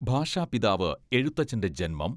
ഭാഷാപിതാവ് എഴുത്തച്ഛന്റെ ജന്മം